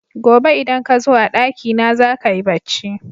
Gobe idan kazo a ɗaki na zaka yi bacci